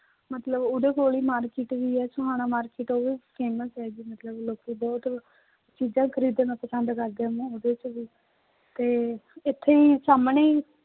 ਮਤਲਬ ਉਹਦੇ ਕੋਲ ਹੀ market ਵੀ ਹੈ ਸੁਹਾਣਾ market ਉਹ ਵੀ famous ਹੈਗੀ ਮਤਲਬ ਲੋਕੀ ਬਹੁਤ ਚੀਜ਼ਾਂ ਖ਼ਰੀਦਣਾ ਪਸੰਦ ਕਰਦੇ ਆ ਉਹਦੇ ਚ ਵੀ ਤੇ ਇੱਥੇ ਹੀ ਸਾਹਮਣੇ ਹੀ